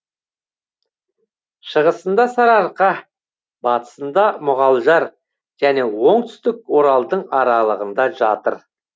шығысында сарыарқа батысында мұғалжар және оңтүстік оралдың аралығында жатыр